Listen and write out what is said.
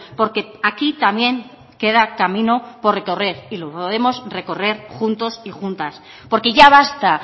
porque aquí también queda camino por recorrer y lo podemos recorrer juntos y juntas porque ya basta